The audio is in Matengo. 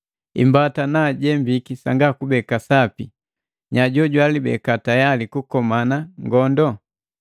Imbata naajembiki sanga kubeka sapi, nya jojwalibeka tayali kukomana ngondo?